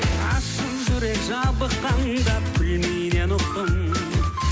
ғашық жүрек жабыққанда ұқтым